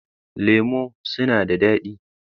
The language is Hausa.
Lemu suna da dadi.